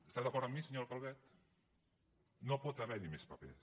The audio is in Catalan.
està d’acord amb mi senyora calvet no pot haver hi més papers